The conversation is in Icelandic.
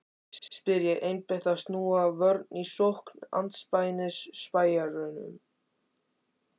spyr ég, einbeitt að snúa vörn í sókn andspænis spæjurunum.